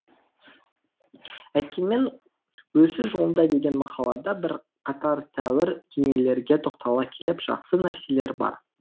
әйткенмен өсу жолында деген мақалада бірқатар тәуір дүниелерге тоқтала келіп жақсы нәрселер бар